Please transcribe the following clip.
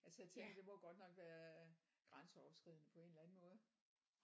Altså jeg tænker det må godt nok være øh grænseoverskridende på en eller anden måde